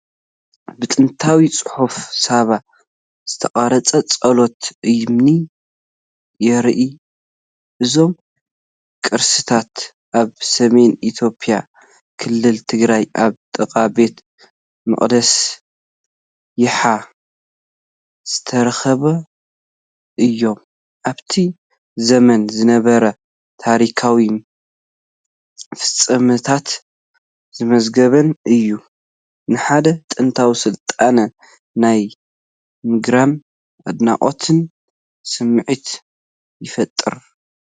ብጥንታዊ ጽሑፍ ሳባ ዝተቐርጸ ጽላት እምኒ የርኢ። እዞም ቅርስታት ኣብ ሰሜን ኢትዮጵያ ክልል ትግራይ ኣብ ጥቓ ቤተ መቕደስ የሓ ዝተረኸቡ እዮም። ኣብቲ ዘመን ዝነበረ ታሪኻዊ ፍጻመታት ዝምዝግብን እዩ። ንሓደ ጥንታዊ ስልጣነ ናይ ምግራምን ኣድናቖትን ስምዒት ይፈጥሩ።